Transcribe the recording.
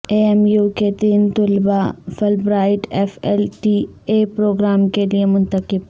اے M U کے تین طلبہ Fulbright F L T A programme کے لئے منتخب